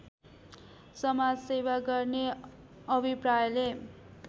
समाजसेवा गर्ने अभिप्रायले